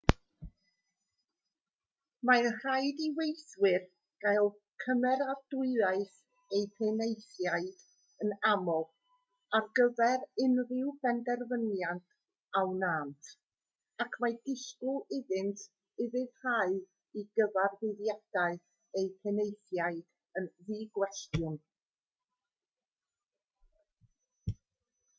mae'n rhaid i weithwyr gael cymeradwyaeth eu penaethiaid yn aml ar gyfer unrhyw benderfyniad a wnânt ac mae disgwyl iddynt ufuddhau i gyfarwyddiadau eu penaethiaid yn ddigwestiwn